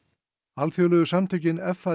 alþjóðlegu samtökin